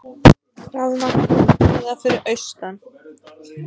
Rafmagnslaust víða fyrir austan